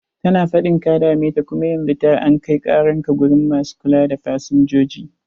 Tana faɗin ka dame ta, kum yanzu ta an kai karan ka gurin masu kula da fasinjoji.